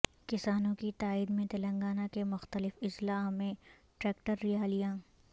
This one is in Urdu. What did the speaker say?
کسانوں کی تائید میں تلنگانہ کے مختلف اضلاع میں ٹریکٹر ریالیاں